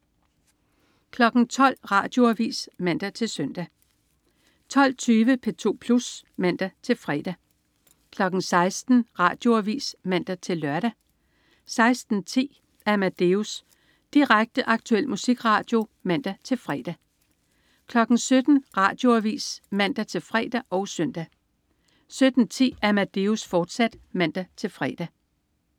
12.00 Radioavis (man-søn) 12.20 P2 Plus (man-fre) 16.00 Radioavis (man-lør) 16.10 Amadeus. Direkte, aktuel musikradio (man-fre) 17.00 Radioavis (man-fre og søn) 17.10 Amadeus, fortsat (man-fre)